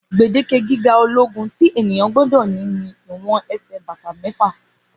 gbèdeke gíga ológun tí ènìyàn gbódò ní ni ìwọn ẹsẹ bàtà méfà